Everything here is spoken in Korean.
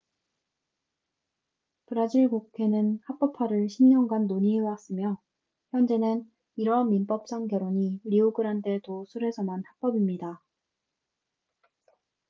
브라질 국회는 합법화를 10년간 논의해왔으며 현재는 이러한 민법상 결혼이 리오그란데 도 술에서만 합법입니다